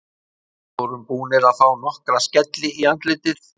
Við vorum búnir að fá nokkra skelli í andlitið.